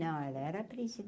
Não, ela era a